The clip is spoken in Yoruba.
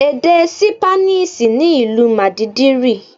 Èdè Sípáníìṣì ni ìlú Màdídìrì.